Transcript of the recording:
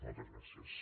moltes gràcies